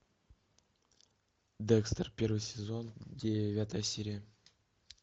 декстер первый сезон девятая серия